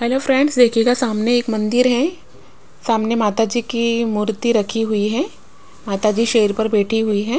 Hello friends देखिएगा सामने एक मंदिर है सामने माता जी कीी मूर्ति रखी हुई है माता जी शेर पर बैठी हुई है।